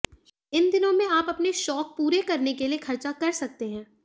इन दिनों में आप अपने शौक पूरे करने के लिए खर्चा कर सकते हैं